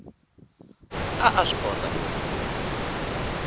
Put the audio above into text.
a a swi kota ku